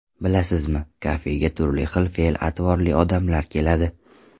Bilasizmi, kafega turli xil fe’l-atvorli odamlar keladi.